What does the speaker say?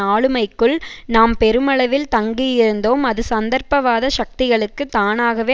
ஆளுமைக்குள் நாம் பெருமளவில் தங்கியிருந்தோம் அது சந்தர்ப்பவாத சக்திகளுக்கு தானாகவே